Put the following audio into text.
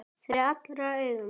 Fyrir allra augum!